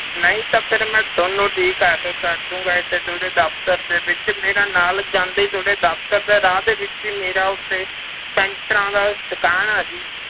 ਨਹੀਂ ਤਾਂ ਫਿਰ ਮੈਂ ਤੁਹਾਨੂੰ ਠੀਕ ਆ ਕੇ ਕਰ ਦਊਂਗਾ ਇੱਥੇ ਤੁਹਾਡੇ ਦਫ਼ਤਰ ਦੇ ਵਿੱਚ, ਮੇਰਾ ਨਾਲ ਜਾਂਦੇ ਹੀ ਤੁਹਾਡੇ ਦਫ਼ਤਰ ਦੇ ਰਾਹ ਦੇ ਵਿੱਚ ਹੀ ਮੇਰਾ ਉੱਥੇ ਪੈਂਚਰਾਂ ਦਾ ਦੁਕਾਨ ਆ ਜੀ,